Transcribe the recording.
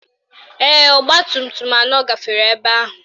Ee, ọgbatumtum anọ gafere ebe ahụ